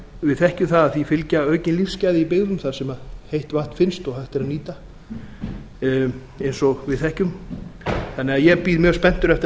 við þekkjum það að því fylgja aukin lífsgæði í byggðum þar sem heitt vatn finnst og hægt er að nýta eins og við þekkjum þannig að ég bíð mjög spenntur eftir að